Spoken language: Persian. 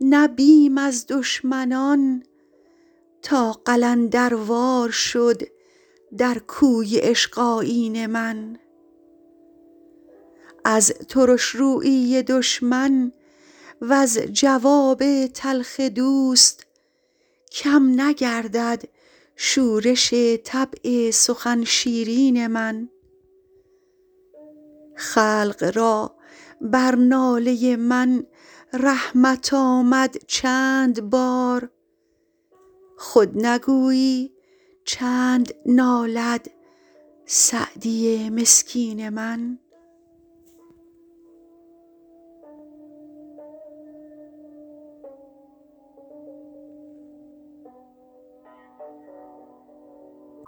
نه بیم از دشمنان تا قلندروار شد در کوی عشق آیین من از ترش رویی دشمن وز جواب تلخ دوست کم نگردد شورش طبع سخن شیرین من خلق را بر ناله من رحمت آمد چند بار خود نگویی چند نالد سعدی مسکین من